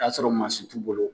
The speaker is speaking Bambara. O y'a sɔrɔ t'u bolo.